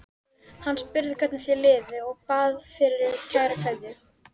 Hann spurði hvernig þér liði og bað fyrir kæra kveðju.